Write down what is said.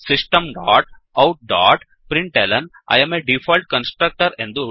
system dot out dot println I am a default constructor